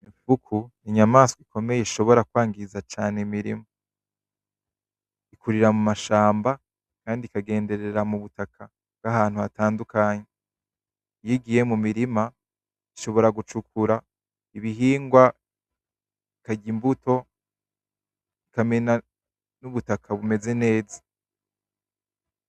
Imfuku n' igikoko ikomeye ishobora kwonona cane imirima. Ikurira mu mashamba kandi ikagenderera mwivu bwahantu hatandukanye. Iyigiye mumirima ishobora kwimba ibihingwa, ikarya imbuto, ikamena n' mwivu bumeze neza.